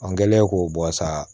An kɛlen k'o bɔ sa